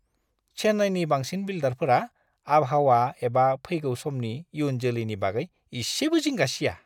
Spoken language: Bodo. चेन्नाईनि बांसिन बिल्डारफोरा आबहावा एबा फैगौ समनि इयुन जोलैनि बागै एसेबो जिंगा सिया!